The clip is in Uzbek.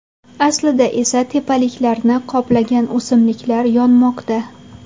Aslida esa tepaliklarni qoplagan o‘simliklar yonmoqda.